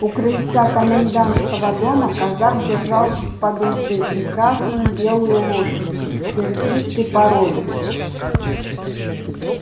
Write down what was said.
у крыльца комендантского дома казак держал под уздцы прекрасную белую лошадь киргизской породы